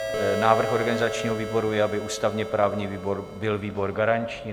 Návrh organizačního výboru je, aby ústavně-právní výbor byl výbor garanční.